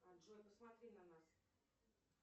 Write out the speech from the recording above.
джой посмотри на нас